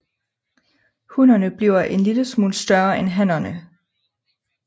Hunnerne bliver en lille smule større end hannerne